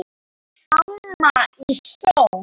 Amma í Sól.